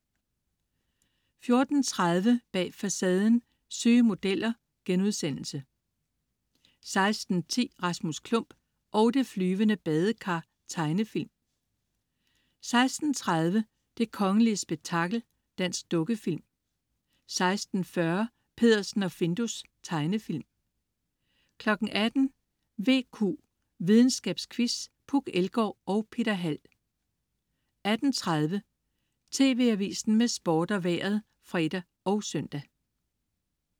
14.30 Bag Facaden: Syge modeller* 16.10 Rasmus Klump og det flyvende badekar. Tegnefilm 16.30 Det kongelige spektakel. Dansk dukkefilm 16.40 Peddersen og Findus. Tegnefilm 18.00 VQ. Videnskabsquiz. Puk Elgård og Peter Hald 18.30 TV Avisen med Sport og Vejret (fre og søn)